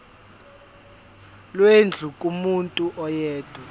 lwendlu kumuntu oyedwa